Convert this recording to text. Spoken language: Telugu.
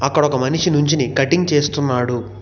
అక్కడొక మనిషి నుంచుని కటింగ్ చేస్తున్నాడు.